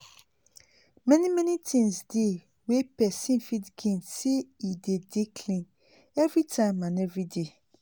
tru tru plenti plenti things dey wey pesin fit gain when e um put all him mind dey dey um clean everyday um